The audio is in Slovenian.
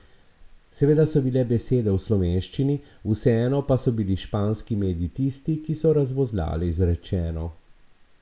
Seveda so bile besede v slovenščini, vseeno pa so bili španski mediji tisti, ki so razvozlali izrečeno.